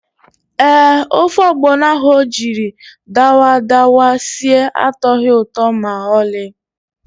Ee, ofe ọgbọnọ ahụ o jiri dawadawa sie atọghị ụtọ ma ọlị.